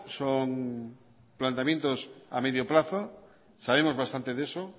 son planteamientos a medio plazo sabemos bastante de eso